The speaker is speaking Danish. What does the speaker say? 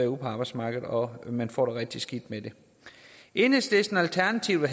ud på arbejdsmarkedet og man får det rigtig skidt med det enhedslisten og alternativet